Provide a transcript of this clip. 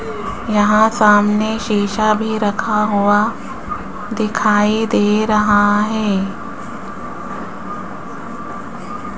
यहां सामने शीशा भी रखा हुआ दिखाई दे रहा है।